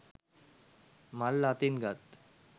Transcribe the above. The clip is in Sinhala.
මල් අතින් ගත්